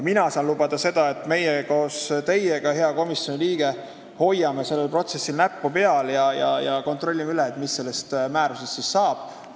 Mina saan lubada seda, et meie kõik koos teiega, hea komisjoni liige, hoiame sellel protsessil näppu peal ja kontrollime üle, mis sellest määrusest siis saab.